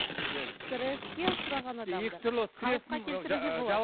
стресске ұшыраған адамды қалыпқа келтіруге болады